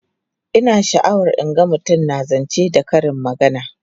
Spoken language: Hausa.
Ina sha'awar in ga mutum na zance da karin magana.